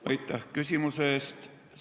Aitäh küsimuse eest!